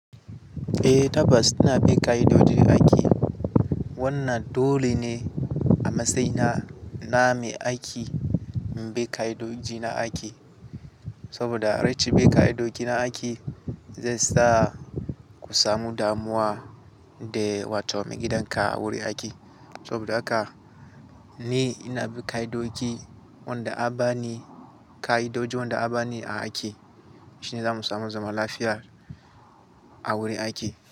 Eh tabas ina bin ka'idoji aiki. Wannan dole ne a matsayina, na mai aiki, in bi ka'idoji na aiki. Saboda rashin bi ka'idoji na aiki, zai sa ku samu damuwa da watowa mai gidan ka a wurin aiki. Saboda haka ni ina bin ka'idoji wanda an bani, ka'idoji wanda an bani a aiki. Shine zamu samu zama lafiya a wurin aiki.